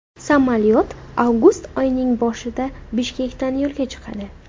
Samolyot avgust oyining boshida Bishkekdan yo‘lga chiqadi.